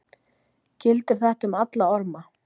Gildir þetta um alla orma?